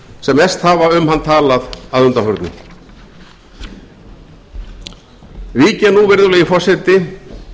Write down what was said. sem mest hafa um hann talað að undanförnu vík ég nú virðulegi forseti